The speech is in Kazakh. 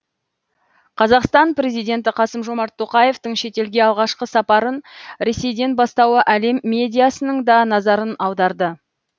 қазақстан президенті қасым жомарт тоқаевтың шетелге алғашқы сапарын ресейден бастауы әлем медиасының да назарын аударды